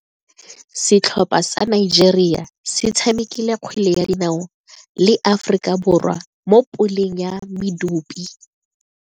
Setlhopha sa Nigeria se tshamekile kgwele ya dinaô le Aforika Borwa mo puleng ya medupe.